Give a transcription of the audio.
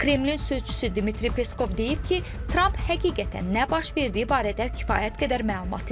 Kreml sözçüsü Dmitri Peskov deyib ki, Tramp həqiqətən nə baş verdiyi barədə kifayət qədər məlumatlı deyil.